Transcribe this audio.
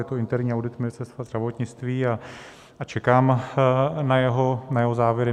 Je to interní audit Ministerstva zdravotnictví a čekám na jeho závěry.